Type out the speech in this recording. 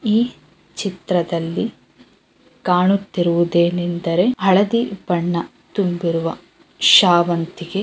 ಈ ಚಿತ್ರದಲ್ಲಿ ಕಾಣುತ್ತಿರುವುದು ಏನೆಂದರೆ ಹಳದಿ ಬಣ್ಣ ತುಂಬಿರುವ ಶಾವಂತಿಗೆ.